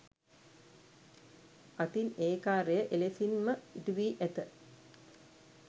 අතින් ඒ කාර්යය එලෙසින්ම ඉටු වී ඇත.